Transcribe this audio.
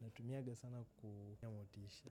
natumiaga sana kujipa motisha.